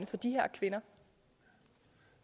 for de her kvinder